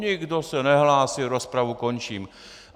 Nikdo se nehlásí, rozpravu končím.